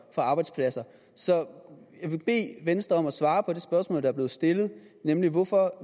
arbejdspladser så jeg vil bede venstre om at svare på det spørgsmål der er blevet stillet nemlig hvorfor